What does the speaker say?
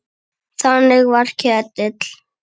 Þannig var Ketill.